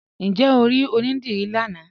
Ǹjẹ́ o ri onídírí lánà?